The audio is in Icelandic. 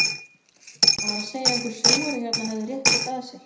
Hann var að segja að einhver sjóari hérna hefði rétt þetta að sér.